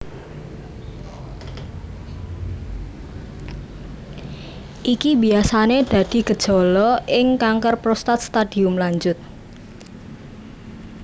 Iki biyasané dadi gejala ing kanker prostat stadium lanjut